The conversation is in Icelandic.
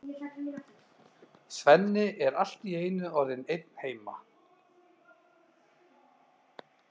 Svenni er allt í einu orðinn einn heima!